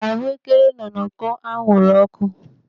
Ahuekere nọ n'uko anwụrụ ọkụ.